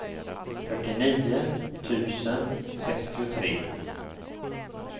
fyrtionio tusen sextiotre